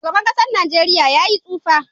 Shugaban kasan nageria ya yi tsufa.